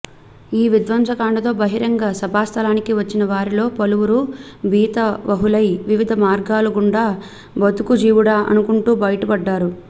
ఈ విధ్వంసకాండతో బహిరంగ సభాస్థలికి వచ్చిన వారిలో పలువురు భీతావహులై వివిధ మార్గాల గుండా బతుకుజీవుడా అనుకుంటూ బయటపడ్డారు